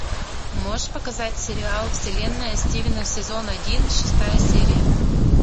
можешь показать сериал вселенная стивена сезон один шестая серия